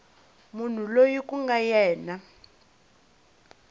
munhu loyi ku nga yena